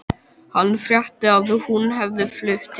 Hann frétti að hún hefði flutt til